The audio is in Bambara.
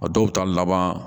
A dɔw bɛ taa laban